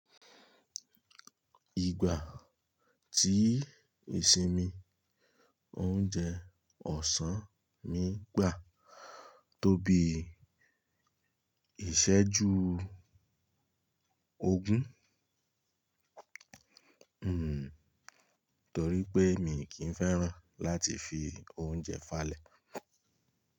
Ìgbà tí ìsinmi oúnjẹ ọ̀sán mi gbà tóbi ìṣẹ́jú ogún, hm, torí pé mi kìí fẹ́ràn láti fi oúnjẹ falẹ̀.